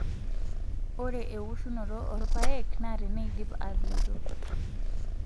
Ore ewoshunoto oorpaek naa teneidip atoito.